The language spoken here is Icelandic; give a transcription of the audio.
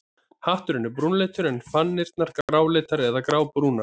Hatturinn er brúnleitur en fanirnar gráleitar eða grábrúnar.